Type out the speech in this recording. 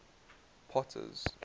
potter's